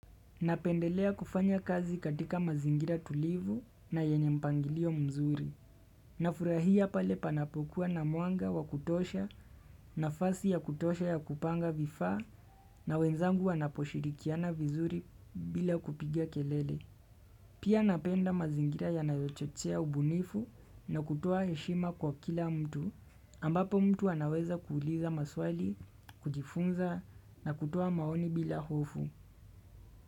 Napendelea kufanya kazi katika mazingira tulivu na yenye mpangilio mzuri. Nafurahia pale panapokuwa na mwanga wakutosha nafasi ya kutosha ya kupanga vifaa na wenzangu wanaposhirikiana vizuri bila kupigia kelele. Pia napenda mazingira ya nayochochea ubunifu na kutoa heshima kwa kila mtu ambapo mtu anaweza kuuliza maswali, kujifunza na kutoa maoni bila hofu.